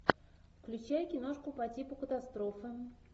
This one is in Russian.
включай киношку по типу катастрофы